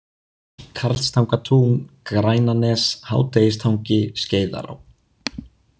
Karlstangatún, Grænanes, Hádegistangi, Skeiðará